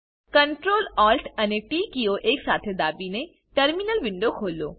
Ctrl Alt અને T કીઓ એક સાથે દાબીને ટર્મિનલ વિન્ડો ખોલો